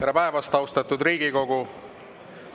Tere päevast, austatud Riigikogu!